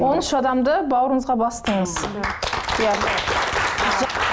он үш адамды бауырыңызға бастыңыз